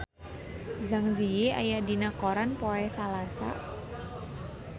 Zang Zi Yi aya dina koran poe Salasa